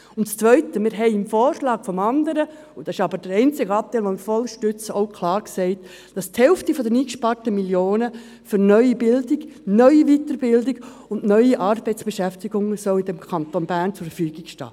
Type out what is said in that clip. Und zweitens: Im anderen Vorschlag haben wir – und das ist der einzige Anteil, den wir voll unterstützen – klar gesagt, dass die Hälfte der eingesparten Millionen für neue Bildung, neue Weiterbildung und neue Arbeitsbeschäftigungen im Kanton Bern zur Verfügung stehen soll.